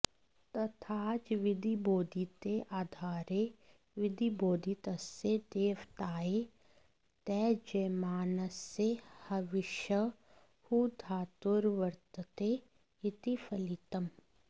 तथाच विधिबोधिते आधारे विधिबोधितस्य देवतायै त्यज्यमानसय् हविषः हुधातुर्वर्तते इति फलितम्